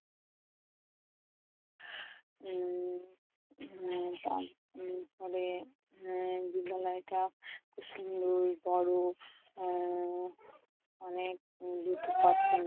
উম বিদ্যালয়টা খুব সুন্দর বড়, উম অনেক দুঃখ